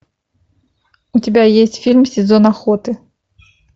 у тебя есть фильм сезон охоты